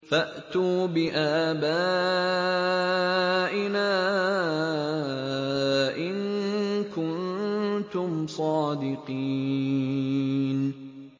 فَأْتُوا بِآبَائِنَا إِن كُنتُمْ صَادِقِينَ